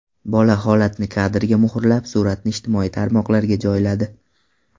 Bola holatni kadrga muhrlab, suratni ijtimoiy tarmoqlarga joyladi.